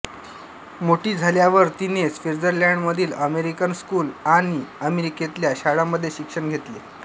मोठी झाल्यावर तिने स्वित्झर्लंडमधील अमेरिकन स्कूल आणि अमेरिकेतल्या शाळांमध्ये शिक्षण घेतले